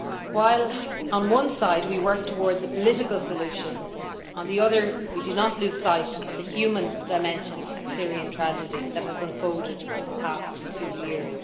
While on one side we work towards a political solution, on the other we do not lose sight of the human dimension of the Syrian tragedy that has unfolded in the past two years.